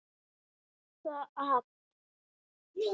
Hann stóðst það afl.